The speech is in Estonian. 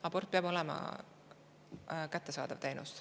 Abort peab olema kättesaadav teenus.